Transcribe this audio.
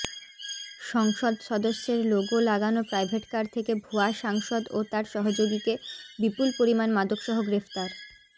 সংসদ সদস্যের লোগো লাগানো প্রাইভেটকার থেকে ভুয়া সাংসদ ও তার সহযোগীকে বিপুল পরিমাণ মাদকসহ গ্রেফতার